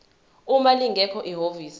uma lingekho ihhovisi